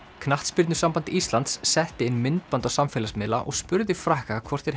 knattspyrnusamband Íslands setti inn myndband á samfélagsmiðla og spurði Frakka hvort þeir